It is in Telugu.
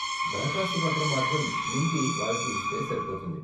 దరఖాస్తు పత్రం మాత్రం నింపి వాళ్ళకి ఇస్తే సరిపోతుంది.